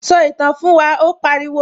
Sọ ìtàn fún wa', ó pariwo